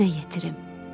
Yerine yetirim.